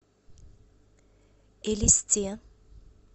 элисте